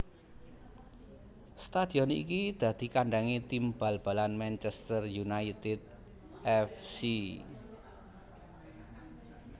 Stadhion iki dadi kandhangé tim bal balan Manchester United F C